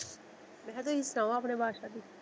ਮੈਂ ਕਿਹਾ ਤੁਸੀਂ ਸੁਣਾਓ ਆਪਣੇ ਬਾਦਸ਼ਾਹ ਦੀ।